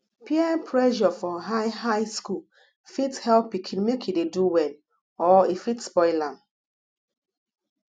peer pressure for high high school fit help pikin make e dey do well or e fit spoil am